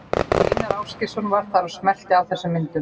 Einar Ásgeirsson var þar og smellti af þessum myndum.